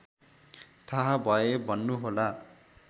थाहा भए भन्नुहोला